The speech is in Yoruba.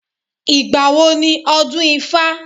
Ìgbà wo ni ọdún ifá?